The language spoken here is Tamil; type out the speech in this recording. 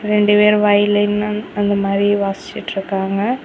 ரெண்டு பேரு வயலின்னன் அந்மாதிரி வாசிச்சிட்ருக்காங்க.